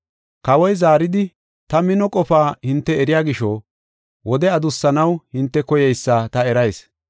Kawoy zaaridi, “Ta mino qofa hinte eriya gisho wode adussanaw hinte koyeysa ta erayis.